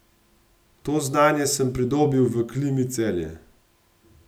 To znanje sem pridobil v Klimi Celje.